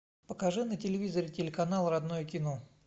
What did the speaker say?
покажи на телевизоре телеканал родное кино